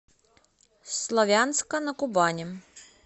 славянска на кубани